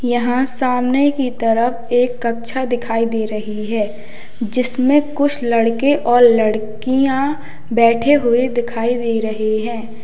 यहां सामने की तरफ एक कक्षा दिखाई दे रही है जिसमें कुछ लड़के और लड़कियां बैठे हुए दिखाई दे रहे हैं।